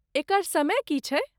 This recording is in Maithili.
एकर समय की छैक?